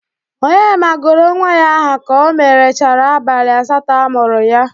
Onyema gụrụ nwa ya aha ka o merechara abalị asatọ a mụrụ ya.